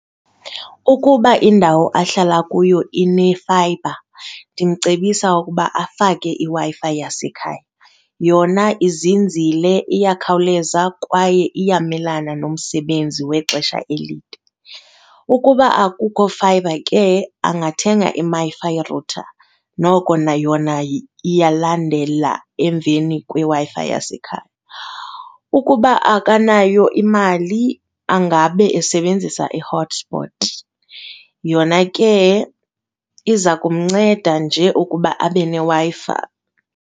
Ukuba indawo ahlala kuyo inefayibha, ndimcebisa ukuba afake iWi-Fi yasekhaya. Yona izinzile iyakhawuleza kwaye iyamelana nomsebenzi wexesha elide. Ukuba akukho fayibha ke angathenga angathenga iMiFi router, noko nayona iyalandela emveni kweWi-Fi yasekhaya. Ukuba akanayo imali angabe esebenzisa i-hotspot yona ke iza kumnceda nje ukuba abe neWi-Fi.